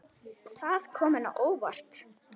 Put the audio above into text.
Það kom henni á óvart.